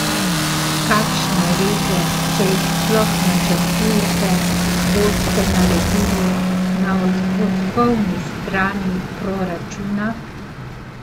Kakšne reze, če jih sploh načrtujete, boste naredili na odhodkovni strani proračuna?